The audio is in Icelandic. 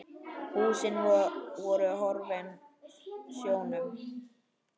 Húsin voru horfin sjónum.